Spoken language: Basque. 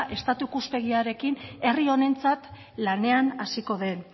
estatu ikuspegiarekin herri honentzat lanean hasiko den